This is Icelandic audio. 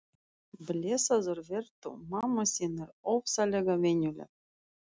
Blessaður vertu, mamma þín er ofsalega venjuleg.